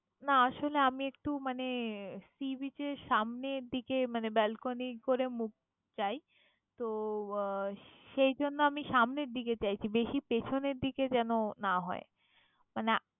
না আসলে আমি একটু মানে sea beach এর সামনের দিকে মানে balcony করে মুখ চাই। তো আহ সেইজন্য আমি সামনের দিকে চাইছি বেশি পেছনের দিকে যেন না হয়। মানে